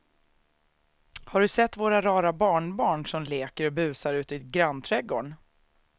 Har du sett våra rara barnbarn som leker och busar ute i grannträdgården!